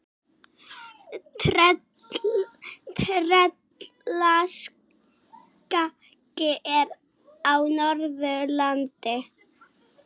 Tröllaskagi er á Norðurlandi.